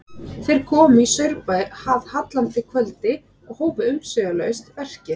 Þeir komu í Saurbæ að hallandi kvöldi og hófu umsvifalaust verkið.